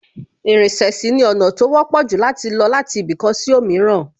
Ìrìnsẹ̀ sì ni ọ̀nà tó wọ́pọ̀ jù láti lọ láti ibì kan sí òmíràn